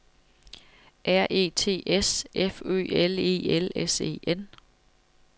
R E T S F Ø L E L S E N